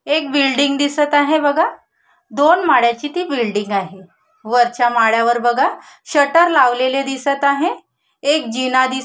एक बिल्डिंग दिसत आहे बघा दोन माळ्याची ती बिल्डिंग आहे वरच्या माळ्यावर बघा शटर लावलेले दिसत आहे एक जिना दिस --